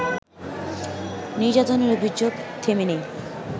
নির্যাতনের অভিযোগ থেমে নেই